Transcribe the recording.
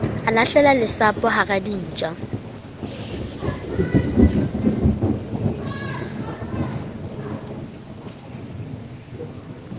a lahlela lesapo hara dintja